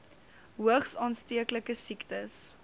hoogs aansteeklike siektes